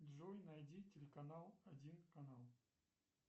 джой найди телеканал один канал